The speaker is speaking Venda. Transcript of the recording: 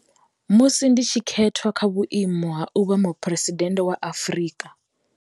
Musi ndi tshi khethwa kha vhuimo ha u vha Muphuresidennde wa Afrika.